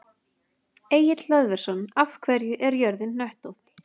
Egill Hlöðversson: Af hverju er jörðin hnöttótt?